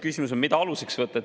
Küsimus on, mida aluseks võtta.